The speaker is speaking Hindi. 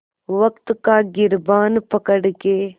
वक़्त का गिरबान पकड़ के